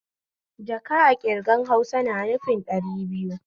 Jaka a ƙirgan Hausa na nufin ɗari biyu